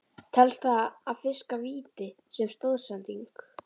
Telst það að fiska víti sem stoðsending?